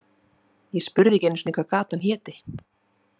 Ég spurði ekki einu sinni hvað gatan héti.